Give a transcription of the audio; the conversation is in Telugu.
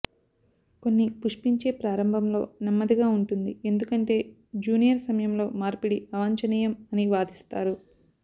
కొన్ని పుష్పించే ప్రారంభంలో నెమ్మదిగా ఉంటుంది ఎందుకంటే జూనియర్ సమయంలో మార్పిడి అవాంఛనీయం అని వాదిస్తారు